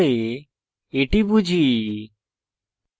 সহজ program ব্যবহার করে এটি বুঝি